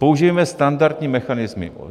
Použijeme standardní mechanismy.